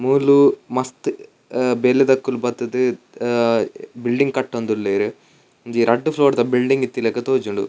ಮೂಲು ಮಸ್ತ್ ಬೇಲೆದಕುಲು ಬತ್ತುದು ಆ ಬಿಲ್ಡಿಂಗ್ ಕಟ್ಟೊಂದುಲ್ಲೆರ್ ಒಂಜಿ ರಡ್ಡ್ ಫ್ಲೋರ್ ದ ಬಿಲ್ಡಿಂಗ್ ಇತ್ತಿಲಕ ತೋಜುಂಡು.